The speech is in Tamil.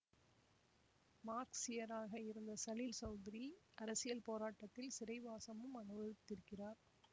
மார்க்ஸியராக இருந்த சலீல் சௌதுரி அரசியல் போராட்டத்தில் சிறைவாசமும் அனுபவித்திருக்கிறார்